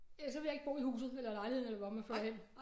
Ellers så vil jeg ikke bo i huset eller lejligheden eller hvor man flytter hen